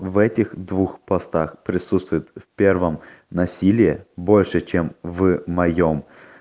в этих двух постах присутствуют в первом насилие больше чем в моём